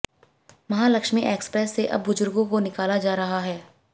Mahalakshmi express से अब बुजुर्गों को निकाला जा रहा है